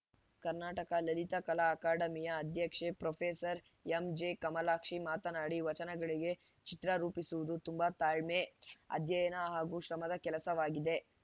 ಕರ್ನಾಟಕ ಲಲಿತಕಲಾ ಅಕಾಡೆಮಿಯ ಅಧ್ಯಕ್ಷೆ ಪ್ರೊಫೆಸೆರ್ ಎಂಜೆಕಮಲಾಕ್ಷಿ ಮಾತನಾಡಿ ವಚನಗಳಿಗೆ ಚಿತ್ರ ರೂಪಿಸುವುದು ತುಂಬ ತಾಳ್ಮೆ ಅಧ್ಯಯನ ಹಾಗೂ ಶ್ರಮದ ಕೆಲಸವಾಗಿದೆ